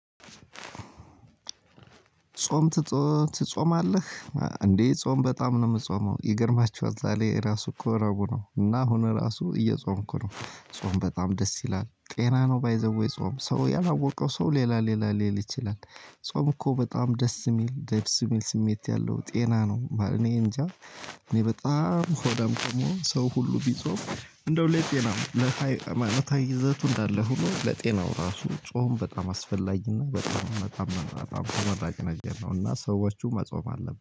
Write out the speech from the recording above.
ጾም ትጾማለህ? እንዴ ጾም በጣም ነው ምጾመው ይገርማቹሃል ዛሬ ራሱ እኮ ረብኡ ነው እና አሁን እራሱ እየጾምኩ ነው። ጾም በጣም ደስ ይላል ጤና ነው ባይ ዘ ዌይ ጾም ሰው ያላወቀው ሰው ሌላ ሌላ ሊል ይችላል። ጾም እኮ በጣም ደስ የሚል ደስ የሚል ስሜት ያለው ጤና ነው። እኔ እንጃ እኔ በጣም ሆዳም ከመሆን ሰው ሁሉ ቢጾም እንደው ለጤናም ይዘቱ እንዳለ ሆኖ ለጤናው ራሱ ጾም በጣም አስፈላጊና በጣም በጣም ተመራጭ ነገር ነው። እና ሰዎቹ መጾም አለብን